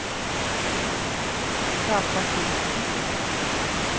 Kjartan Olufsen